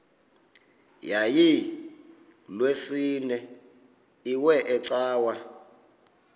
yayilolwesine iwe cawa